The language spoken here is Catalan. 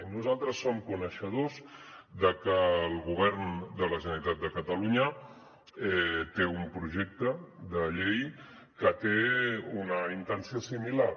i nosaltres som coneixedors de que el govern de la generalitat de catalunya té un projecte de llei que té una intenció similar